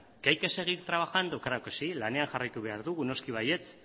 que hay que seguir trabajando claro que sí lanean jarraitu behar dugu noski baietz